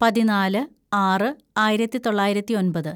പതിനാല് ആറ് ആയിരത്തിതൊള്ളായിരത്തി ഒന്‍പത്‌